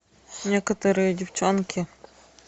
некоторые девчонки